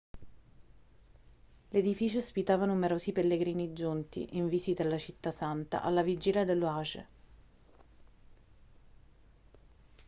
l'edificio ospitava numerosi pellegrini giunti in visita alla città santa alla vigilia dello hajj